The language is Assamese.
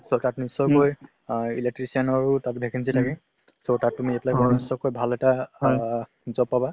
টো তাত নিশ্চয়কৈ অ electrician ৰো তাত vacancy থাকে । so তাত তুমি apply কৰি নিশ্চয়কৈ ভাল এটা অ job পাবা